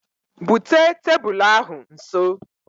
Bute tebulu ahụ nso